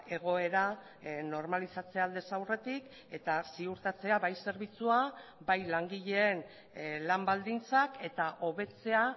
egoera normalizatzea aldez aurretik eta ziurtatzea bai zerbitzua bai langileen lan baldintzak eta hobetzea